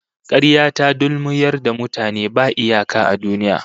Karya ta dulmuyar da mutane ba iyaka a duniya